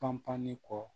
Panpanli kɔ